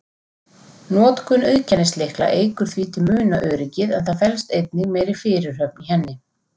Notkun auðkennislykla eykur því til muna öryggið, en það felst einnig meiri fyrirhöfn í henni.